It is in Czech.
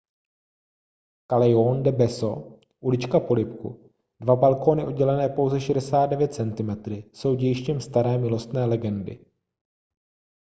calejjon del beso ulička polibku. dva balkóny oddělené pouze 69 centimetry jsou dějištěm staré milostné legendy